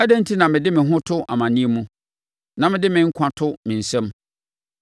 Adɛn enti na mede me ho to amaneɛ mu na mede me nkwa to me nsam?